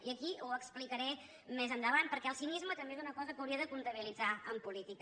i aquí ho explicaré més endavant perquè el cinisme també és una cosa que hauria de comptabilitzar en política